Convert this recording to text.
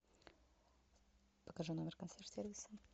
покажи номер консьерж сервиса